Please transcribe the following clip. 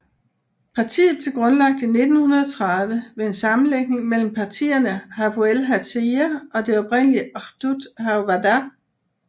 Partiet blev grundlagt i 1930 ved en sammenlægning mellem partierne Hapoel Hatzair og det oprindelige Ahdut HaAvoda